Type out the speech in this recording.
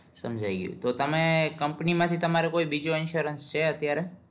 સમજાઈ ગયું તો તમે કંપની માંથી તમારો કોઈ બીજો insurance છે અત્યારે